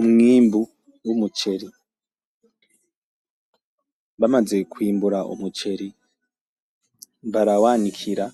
Umwimbu w’umuceri bamaze kw’imbura umuceri barawanikira